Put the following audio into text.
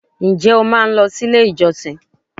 Ǹ jé o máa n lo si ilé ìjọsìn